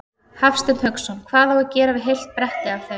Hafsteinn Hauksson: Hvað á að gera við heilt bretti af þeim?